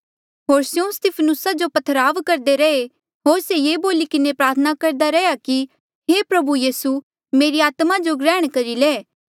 होर स्यों स्तिफनुसा जो पत्थरवाह करदे रैहे होर से ये बोली किन्हें प्रार्थना करदा रैंहयां कि हे प्रभु यीसू मेरी आत्मा जो ग्रहण करी ले